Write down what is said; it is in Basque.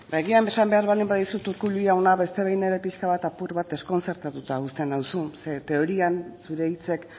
ba agian esan behar baldin badizut urkullu jauna beste behin ere pixka bat ere apur bat deskontzertatuta uzten nauzu zeren teorian zure hitzek